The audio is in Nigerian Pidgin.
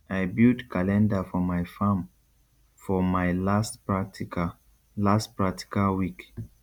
i build calendar for my farm for my last practical last practical week